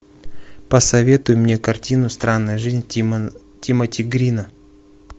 посоветуй мне картину странная жизнь тимоти грина